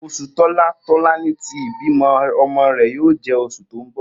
Osu tola Tolani ti ibimo omo re yoo je osu to n bo.